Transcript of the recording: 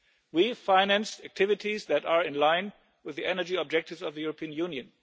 We finance activities that are in line with the energy objectives of the European Union.